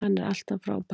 Hann er alltaf frábær.